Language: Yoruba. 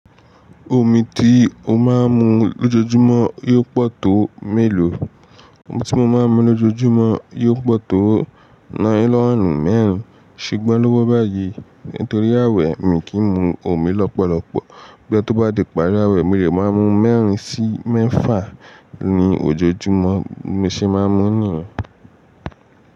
Omi tí ó máa ń mu lójoójúmọ́ yóò pọ̀ tó mélòó? Omi tí mo máa ń mu lójoójúmọ́ yóò pọ̀ tó nylonu mẹ́rin. Ṣugbon lówó báyìí? Nítorí ààwẹ̀ mi kì í mu omi lọ́pọ̀lọpọ̀. Bo ya bá di ìparí ààwẹ̀ mi lè máa mu mẹ́rin sí mẹ́fà ni ojoojúmọ́ mi ṣe máa ń mu nìyẹn.